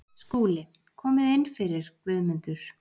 SKÚLI: Komið inn fyrir, Guðmundur.